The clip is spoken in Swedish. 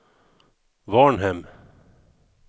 Varnhem